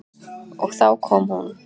Og þá kom hún.